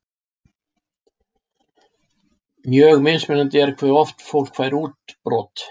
Mjög mismunandi er hve oft fólk fær útbrot.